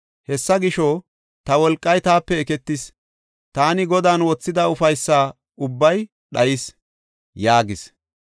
Hessa gisho, “Ta wolqay taape eketis; taani Godan wothida ufaysa ubbay dhayis” yaagas.